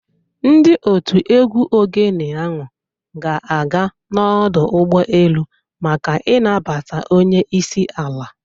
Ndị òtù egwú Ogene ahụ ga-aga n’ọdụ ụgbọelu maka ịnabata Onye isi ala.